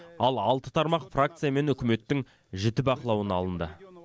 ал алты тармақ фракция мен үкіметтің жіті бақылауына алынды